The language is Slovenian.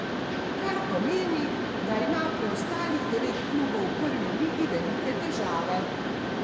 Kar pomeni, da ima preostalih devet klubov v prvi ligi velike težave.